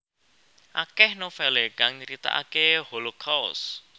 Akeh novele kang nyritakake Holocaust